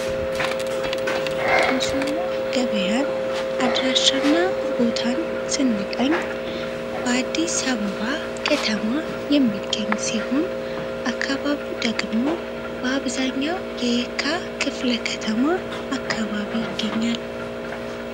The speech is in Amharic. የሾላ ገበያን አድራሻና ቦታን ስንቀኝ በአዲስ ሳበባ ከተማ የሚገኝ ሲሆን አካባቢው ደግሞ በአብዛኛው የዕካ ክፍለ ከተማ አካባቢ ይገኛል።